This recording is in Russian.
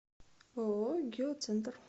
ооо геоцентр